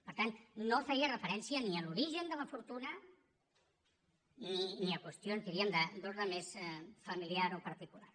per tant no feia referència ni a l’origen de la fortuna ni a qüestions diríem d’ordre més familiar o particular